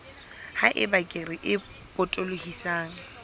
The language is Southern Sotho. ha eba kere e potolohisang